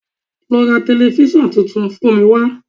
Lọ ra tẹlifísàn tuntun fún mi wá